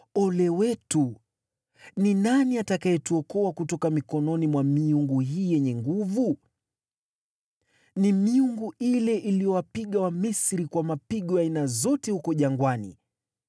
Ole wetu! Ni nani atakayetuokoa kutoka mikononi mwa miungu hii yenye nguvu? Ni miungu ile iliyowapiga Wamisri kwa mapigo ya aina zote huko jangwani.